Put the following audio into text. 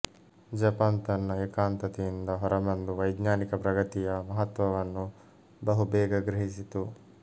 Japan ತನ್ನ ಏಕಾಂತತೆಯಿಂದ ಹೊರಬಂದು ವೈಜ್ಞಾನಿಕ ಪ್ರಗತಿಯ ಮಹತ್ತ್ವವನ್ನು ಬಹುಬೇಗ ಗ್ರಹಿಸಿತು